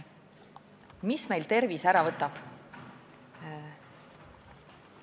Mis meilt tervise ära võtab?